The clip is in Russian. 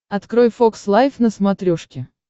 открой фокс лайв на смотрешке